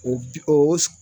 O bi oo s